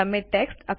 તમે ટેક્સ્ટ